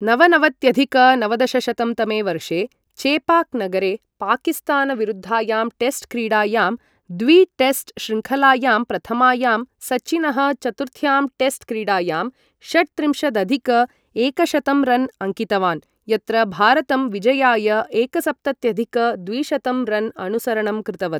नवनवत्यधिक नवदशशतं तमे वर्षे चेपाक् नगरे पाकिस्तानविरुद्धायां टेस्ट् क्रीडायां द्वि टेस्ट् श्रृङ्खलायाम् प्रथमायां, सचिनः चतुर्थ्यां टेस्ट् क्रीडायां षट्त्रिंशदधिक एकशतं रन् अङ्कितवान्, यत्र भारतं विजयाय एकसप्तत्यधिक द्विशतं रन् अनुसरणं कृतवत्।